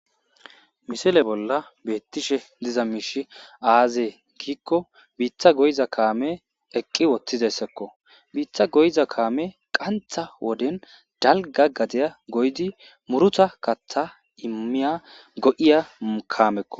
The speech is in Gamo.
Misile bolla bitishe diza miishy aze giikon bita goyiza kaamey eqi utidaysako, bita goyiza kamay qantha wodeni dalga gadiya goyid muruta kata imiya go'iya kaameko.